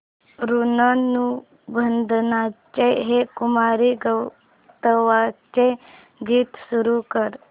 ऋणानुबंधाच्या हे कुमार गंधर्वांचे गीत सुरू कर